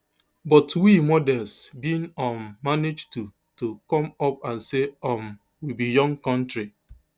but we [models] bin um manage to to come up and say um we be young kontri